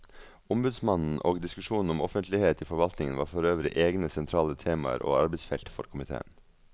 Ombudsmannen og diskusjonen om offentlighet i forvaltningen var forøvrig egne sentrale temaer og arbeidsfelt for komiteen.